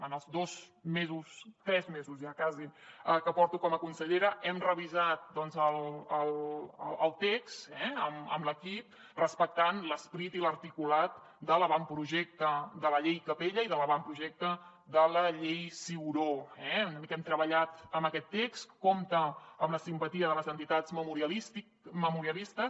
en els dos mesos tres mesos ja quasi que porto com a consellera hem revisat el text amb l’equip respectant l’esperit i l’articulat de l’avantprojecte de la llei capella i de l’avantprojecte de la llei ciuró eh hem treballat amb aquest text compta amb la simpatia de les entitats memorialistes